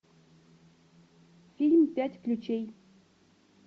фильм пять ключей